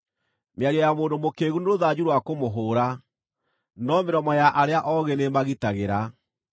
Mĩario ya mũndũ mũkĩĩgu nĩ rũthanju rwa kũmũhũũra, no mĩromo ya arĩa oogĩ nĩĩmagitagĩra.